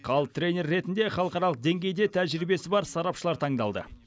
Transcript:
ал тренер ретінде халықаралық деңгейде тәжірибесі бар сарапшылар таңдалды